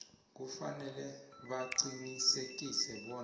kufanele baqinisekise bona